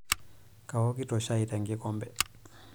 Kaokito shai tenkikombe.